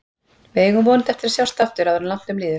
Við eigum vonandi eftir að sjást aftur áður en langt um líður.